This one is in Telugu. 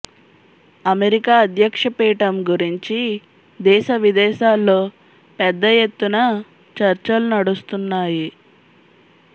అమెరికా అధ్యక్ష పీఠం గురించి దేశవిదేశాల్లో పెద్ద ఎత్తున చర్చలు నడుస్తున్నాయి